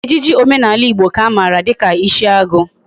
Ejiji omenala Igbo ka amara dika isiagu